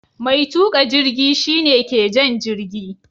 Mai tuka jirgi shi ne ke jan jirgi.